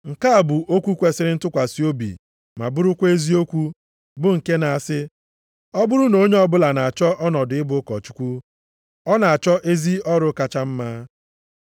Nke a bụ okwu kwesiri ntụkwasị obi ma bụrụkwa eziokwu, bụ nke na-asị, ọ bụrụ na onye ọbụla na-achọ ọnọdụ ịbụ ụkọchukwu, ọ na-achọ ezi ọrụ kacha mma.